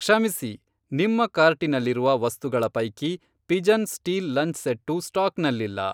ಕ್ಷಮಿಸಿ, ನಿಮ್ಮ ಕಾರ್ಟಿನಲ್ಲಿರುವ ವಸ್ತುಗಳ ಪೈಕಿ ಪಿಜನ್ ಸ್ಟೀಲ್ ಲಂಚ್ ಸೆಟ್ಟು ಸ್ಟಾಕ್ನಲ್ಲಿಲ್ಲ.